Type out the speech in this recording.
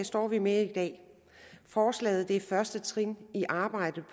står vi med i dag forslaget er første trin i arbejdet